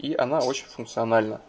и она очень функциональна